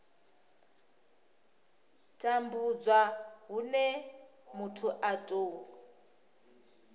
tambudzwa hune muthu a tou